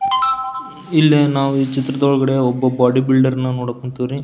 ಇಲ್ಲಿ ನಾವು ಈ ಚಿತ್ರದೊಳಗಡೆ ಒಬ್ಬ ಬಾಡಿ ಬಿಲ್ದರ್ ಅನ್ನ ನೋಡಕ್ ಹೊಂತಿವಿ.